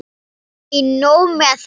Ekki nóg með að